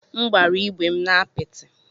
M gbara ígwè m na apịtị.